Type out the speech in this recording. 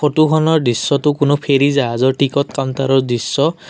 ফটোখনৰ দৃশ্যটো কোনো ফেৰী জাহাজৰ টিকট কাউন্তাৰৰ দৃশ্য।